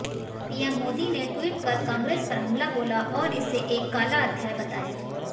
PM Modi ने tweet कर कांग्रेस पर हमला बोला और इसे एक काला अध्याय बताया